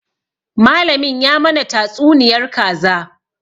Malamin ya mana tatsuniyar kaza